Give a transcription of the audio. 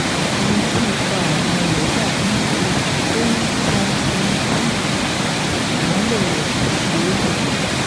ẹni tí ipa ọ̀nà rẹ̀ dà bí ìmọ́lẹ̀ tó ń tan ẹni tí ìmọ́lẹ̀ rẹ̀ kò ṣe é lù pa